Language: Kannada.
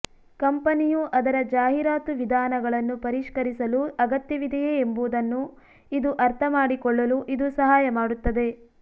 ಕಂಪನಿಯು ಅದರ ಜಾಹೀರಾತು ವಿಧಾನಗಳನ್ನು ಪರಿಷ್ಕರಿಸಲು ಅಗತ್ಯವಿದೆಯೇ ಎಂಬುದನ್ನು ಇದು ಅರ್ಥಮಾಡಿಕೊಳ್ಳಲು ಇದು ಸಹಾಯ ಮಾಡುತ್ತದೆ